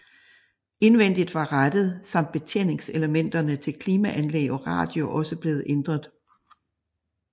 Indvendigt var rattet samt betjeningselementerne til klimaanlæg og radio også blevet ændret